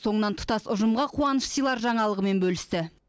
соңынан тұтас ұжымға қуаныш сыйлар жаңалығымен бөлісті